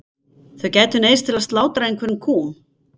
Þau gætu neyðst til að slátra einhverjum kúm.